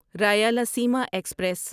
Rayalaseema express